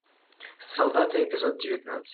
солдаты эпизод девятнадцать